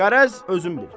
Qərəz özün bil.